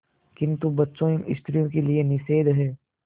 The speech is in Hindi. किंतु बच्चों एवं स्त्रियों के लिए निषेध है